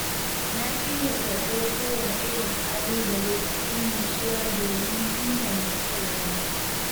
Na shirya karɓar kowane irin ƙalubale cikin nutsuwa domin inganta kaina.